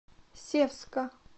севска